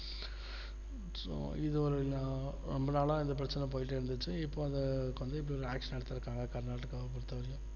so இதுவரை நான் ரொம்ப நாளா இந்த பிரச்சனை போயிட்டு இருந்துச்சு இப்போ வந்து இந்த action எடுத்திருக்காங்க கர்நாடகா பொறுத்த வரைக்கும்